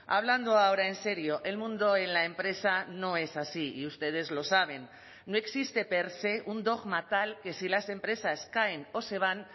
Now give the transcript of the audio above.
hablando ahora en serio el mundo en la empresa no es así y ustedes lo saben no existe per se un dogma tal que si las empresas caen o se van